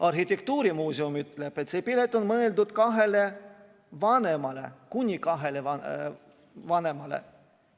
Arhitektuurimuuseum ütleb, et see pilet on mõeldud kuni kahele vanemale.